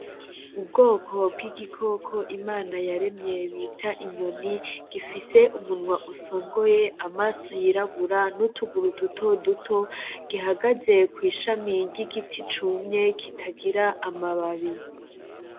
Ubwoko bw’igikoko Imana yaremye bita inyoni ,gifise umunwa usongoye amaso yirabura n’utuguru dutoduto ,gihagaze kw’ishami ry’igiti cumye kitagira amababi .